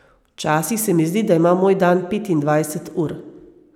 Včasih se mi zdi, da ima moj dan petindvajset ur.